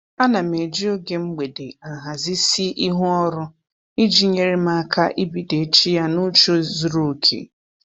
Ana m eji oge mgbede ahazisi ihu ọrụ iji nyere m aka ibido echi ya n'uche zuru oke